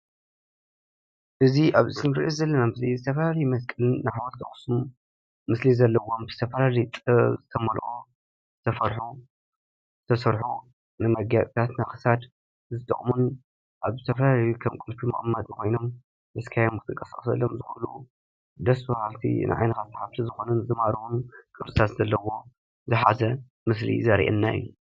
እዚ ኣብዚ እንሪኦ ዘለና ምስሊ ዝተፈላለዩ መስቀል፣ ሓወልቲ ኣክሱም ምስሊ ዘለዎም ዝተፈላለየ ጥበብ ዝተመልኦ ዝተሰርሑ ዝተሰርሑ መጋየፅታት ናይ ክሳድ ዝጠቕሙን ኣብ ዝተፈላለየ ከም ቁልፊ መቀመጢ ኮይኖም ሒዝካዮም ክትንቀሳቀሰሎም ዝኽእሉ ደስ ብሃልቲ ንዓይንኻ ሰሓብቲ ዝኾኑን ዝማርኹን ቅርፅታት ዘለዎም ዝሓዘ ምስሊ እዩ ዘርእየና እዩ ።